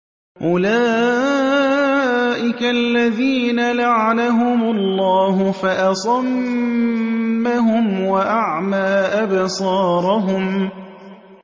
أُولَٰئِكَ الَّذِينَ لَعَنَهُمُ اللَّهُ فَأَصَمَّهُمْ وَأَعْمَىٰ أَبْصَارَهُمْ